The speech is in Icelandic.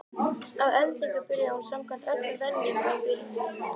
Að endingu byrjaði hún samkvæmt öllum venjum á byrjuninni.